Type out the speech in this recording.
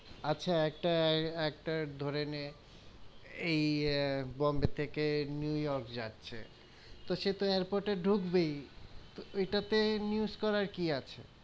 আচ্ছা একটা, একটা ধরে নে এই বোম্বে থেকে নেউয়র্ক যাচ্ছে, তো সে তো airpot এ ডুকবেই, তো এইটা তে news করার কি আছে,